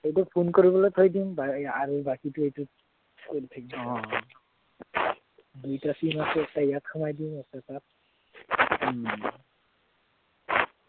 এইটো phone কৰিবলৈ থৈ দিম আৰু বাকীটো এইটোত দুইটা sim আছে এটা ইয়াত সোমোৱাই দিম এটা তাত